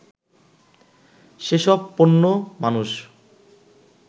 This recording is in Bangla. সেসব পণ্য মানুষ